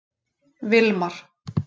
Vilmar